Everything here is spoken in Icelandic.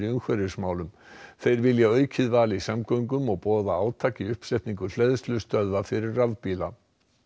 umhverfismálum þau vilja aukið val í samgöngum og boða átak í uppsetningu hleðslustöðva fyrir rafbíla